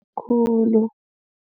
Khulu.